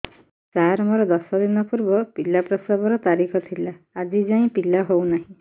ସାର ମୋର ଦଶ ଦିନ ପୂର୍ବ ପିଲା ପ୍ରସଵ ର ତାରିଖ ଥିଲା ଆଜି ଯାଇଁ ପିଲା ହଉ ନାହିଁ